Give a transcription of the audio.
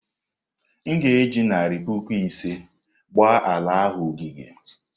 M ga-eji narị puku ise gbaa ala ahụ ogige.